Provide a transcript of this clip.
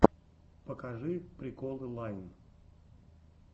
покажи приколы лайн